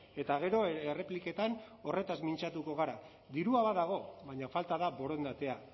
eta gero errepliketan horretaz mintzatuko gara dirua badago baina falta da borondatea